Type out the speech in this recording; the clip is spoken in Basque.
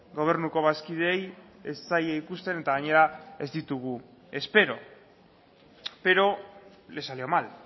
gobernuko bazkideei ez zaie ikusten eta gainera ez ditugu espero pero le salió mal